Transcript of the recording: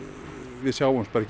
við sjáumst bara ekki